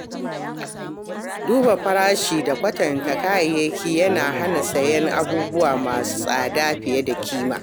Duba farashi da kwatanta kayayyaki yana hana sayen abubuwa masu tsada fiye da kima.